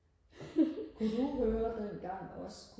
kunne du høre dengang også